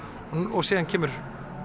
og síðan kemur